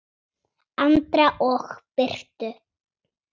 Andra og Birtu.